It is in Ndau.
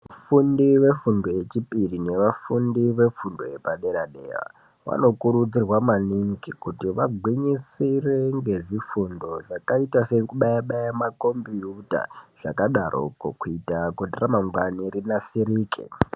Vafundi vefundo yechipiri nevafundi vefundo yepadera-dera vanokurudzirwa maningi kuti vagwinyisire ngezvifundo zvakaita sekubaya-baya makombiyuta zvakadaroko kuita kuti ramangwani rinasirike.